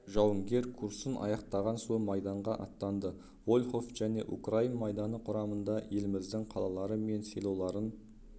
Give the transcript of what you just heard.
жауынгер курсын аяқтаған соң майданға аттанды волхов және украин майданы құрамында еліміздің қалалары мен селоларын